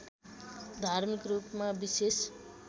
धार्मिक रूपमा विषेश